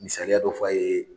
Misaliya dɔ fɔ a ye